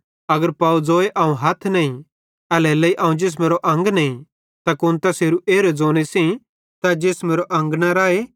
अगर पव ज़ोए अवं हथ नईं एल्हेरेलेइ अवं जिसमेरो अंग नईं त कुन तैसेरे ज़ोने सेइं तै जिसमेरो अंग न राए